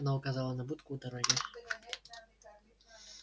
она указала на будку у дороги